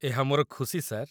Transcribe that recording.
ଏହା ମୋର ଖୁସି, ସାର୍।